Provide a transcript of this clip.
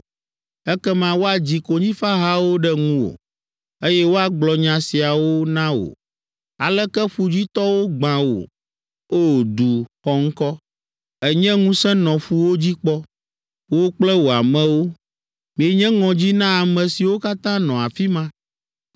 Ekema woadzi konyifahawo ɖe ŋuwò, eye woagblɔ nya siawo na wò. “ ‘Aleke ƒudzitɔwo gbã wò, o, du xɔŋkɔ! Ènye ŋusẽ nɔ ƒuwo dzi kpɔ, wò kple wò amewo, mienye ŋɔdzi na ame siwo katã nɔ afi ma.